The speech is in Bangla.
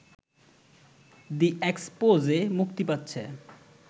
দ্য এক্সপোজে মুক্তি পাচ্ছে